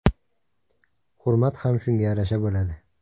Hurmat ham shunga yarasha bo‘ladi.